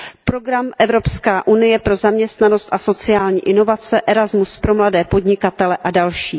Program Evropská unie pro zaměstnanost a sociální inovace, Erasmus pro mladé podnikatele a další.